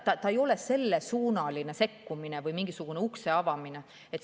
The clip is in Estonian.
See ei ole sellesuunaline sekkumine või mingisuguse ukse avamine.